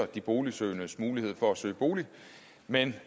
de boligsøgendes mulighed for at søge bolig men